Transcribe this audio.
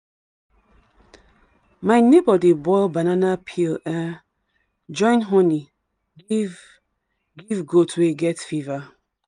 my neighbor dey boil banana peel um join honey give give goat wey get fever.